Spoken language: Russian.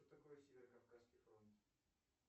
что такое северо кавказский фронт